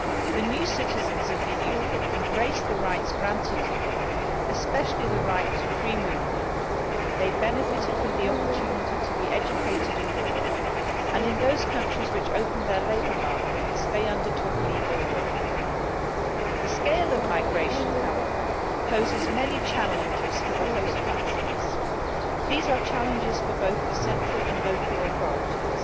The new citizens of the European Union embraced the rights granted to them, especially the right to free movement. They benefited from the opportunity to be educated abroad and, in those countries which opened their labour markets, they undertook legal work. The scale of migration, however, poses many challenges for the host countries. These are challenges for both the central and local authorities.